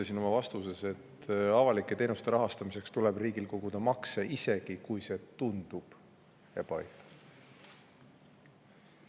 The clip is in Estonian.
Jah, ma oma vastuses isegi ütlesin, et avalike teenuste rahastamiseks tuleb riigil koguda makse, isegi kui see tundub ebaõiglane.